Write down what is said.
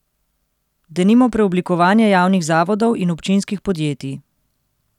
Denimo preoblikovanje javnih zavodov in občinskih podjetij.